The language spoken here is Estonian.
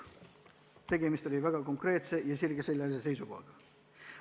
Tegemist oli väga konkreetse seisukohaga.